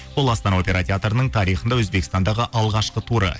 бұл астана опера театрының тарихында өзбекстандағы алғашқы туры